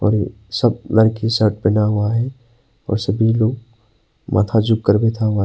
सब बना हुआ है और सभी लोग माथा झुक कर बैठा हुआ--